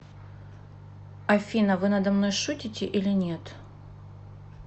афина вы надо мной шутите или нет